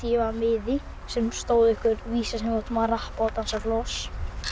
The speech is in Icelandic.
var miði sem á stóð einhver vísa sem við áttum að rappa og dansa floss